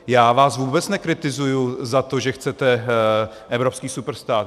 Já vás vůbec nekritizuji za to, že chcete evropský superstát.